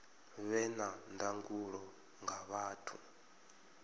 vhe na ndangulo nga vhathu